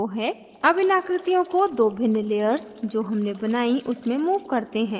अब इन आकृतियों को 2 भिन्न layers जो हमनें बनाई उनमें move करते हैं